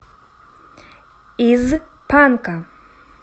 из панка